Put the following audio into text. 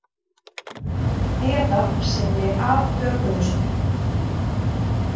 Eða sinni afbökuðustu.